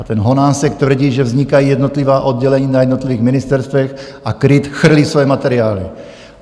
A ten Honásek tvrdí, že vznikají jednotlivá oddělení na jednotlivých ministerstvech a KRIT chrlí svoje materiály.